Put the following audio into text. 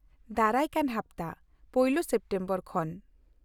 ᱫᱟᱨᱟᱭ ᱠᱟᱱ ᱦᱟᱯᱛᱟ, ᱯᱳᱭᱞᱳ ᱥᱮᱯᱴᱮᱢᱵᱚᱨ ᱠᱷᱚᱱ ᱾